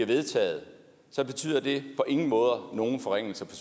vedtaget så betyder det på ingen måde nogen forringelser